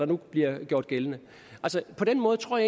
nu bliver gældende på den måde tror